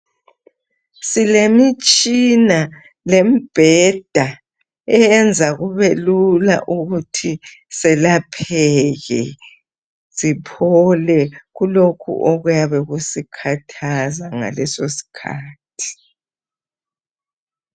Silemitshina lembheda, eyenza kubelula ukuthi selapheke, siphole, kulokho okuyabe kusikhathaza ngalesosikhathi.